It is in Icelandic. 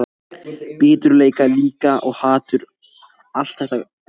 Biturleika líka, og hatur, allt þetta grófa.